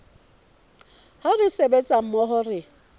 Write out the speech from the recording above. ha re sebetsa mmoho re